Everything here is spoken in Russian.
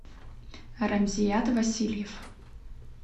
рамзият васильев